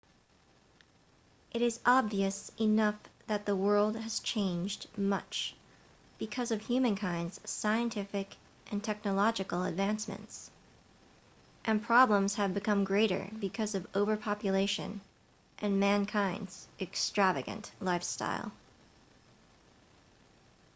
it is obvious enough that the world has changed much because of humankind's scientific and technological advancements and problems have become greater because of overpopulation and mankind's extravagant lifestyle